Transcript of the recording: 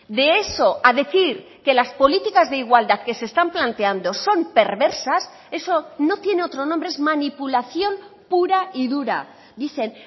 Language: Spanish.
de eso a decir que las políticas de igualdad que se están planteando son perversas eso no tiene otro nombre es manipulación pura y dura dicen